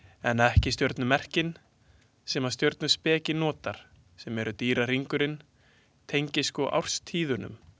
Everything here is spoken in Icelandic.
En ekki stjörnumerkin sem að stjörnuspeki notar sem eru dýrahringurinn tengist sko árstíðunum.